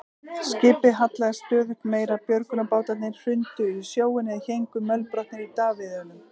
Skipið hallaðist stöðugt meira, björgunarbátarnir hrundu í sjóinn eða héngu mölbrotnir í davíðunum.